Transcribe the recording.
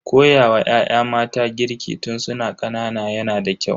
Koyawa ya'ya mata girki tun su na ƙanana yana da kyau.